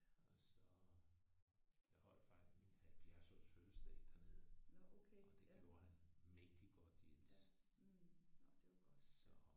Og så øh jeg holdt faktisk min 70 års fødselsdag dernede og det gjorde han mægtigt godt Jens så